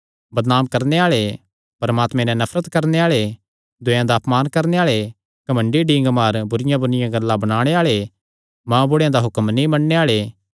बदनाम करणे आल़े परमात्मे नैं नफरत करणे आल़े दूयेयां दा अपमान करणे आल़े घमंडी डींगमार बुरिआंबुरिआं गल्लां बणाणे आल़े मांऊ बुढ़े दा हुक्म नीं मन्नणे आल़े